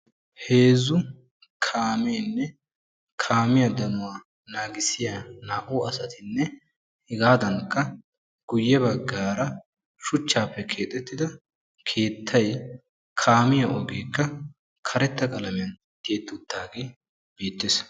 Heezzu kaameenne kaamiya danuwa naagissiya 2u asatinne hegaadankka guyye baggaara shuchchaappe keexettida keettay, kaamiya ogeekka karetta qalamiyan tiyetti uttidaagee beettees.